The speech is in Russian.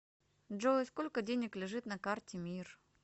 джой сколько денег лежит на карте мир